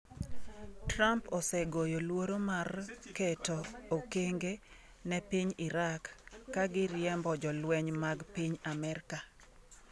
Trump osegoyo luoro mar keto okenge ne piny Iraq ka giriembo jolweny mag piny Amerka.